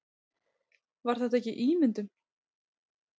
Var þetta ekki ímyndun?